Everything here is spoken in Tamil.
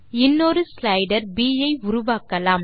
இன்னொரு ஸ்லைடர் ப் ஐ உருவாக்கலாம்